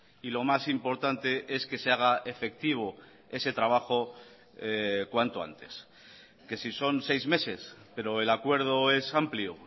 y lo más importante es que se haga efectivo ese trabajo cuanto antes que si son seis meses pero el acuerdo es amplio